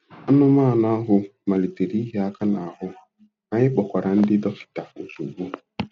Anụmanụ ahụ malitere ịhịa aka n'ahụ, anyị kpọkwara ndị dọkịta ozugbo.